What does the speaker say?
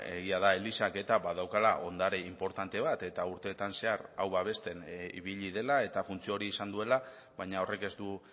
egia da elizak badaukala ondare inportante bat eta urteetan zehar hau babesten ibili dela eta funtzio hori izan duela baina horrek ez du